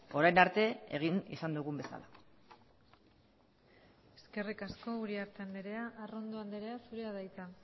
orain arte egin izan dugun bezala eskerrik asko uriarte andrea arrondo andrea zurea da hitza